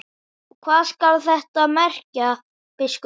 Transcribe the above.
Og hvað skal þetta merkja, biskup Jón?